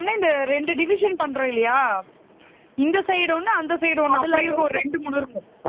இந்த ரெண்டு division பண்றோம் இல்லையா இந்த side ஒண்ணு அந்த side ஒண்ணு அப்படி இருக்கும் ரெண்டு மூணு இருக்கும்